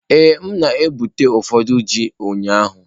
Ee, m na-egbute ụfọdụ ji ụnyahụ.